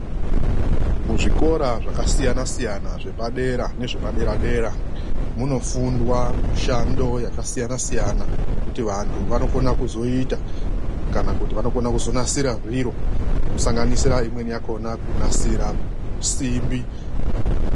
Muzvikora zvakasiyana siyana zvepadera nezvepadera-dera munofundwa mushando yakasiyana siyana yekuti vandu vanokona kuita kana kuti vanokona kunasira zviro zvinosanganisira imweni yakhona kunasira simbi.